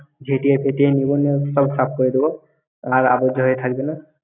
সাফ করে দেবো। আর আবর্জনা থাকবেনা।